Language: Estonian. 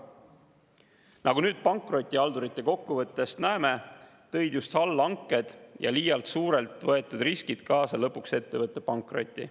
Nagu nüüd pankrotihaldurite kokkuvõttest näeme, tõid just allhanked ja liialt suurelt võetud riskid lõpuks kaasa ettevõtte pankroti.